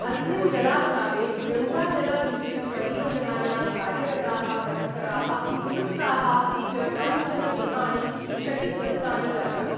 अस्मिन् जलाप्लवे गंगाजलविद्युत् परियोजनायां कार्यरताः कर्मकरा: विलुप्ता: अपि च कानिचन गृहाणि क्षतिग्रस्तानि जातानि।